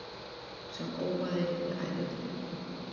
Sem óaði við ævintýri.